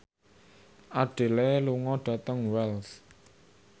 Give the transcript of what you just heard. Adele lunga dhateng Wells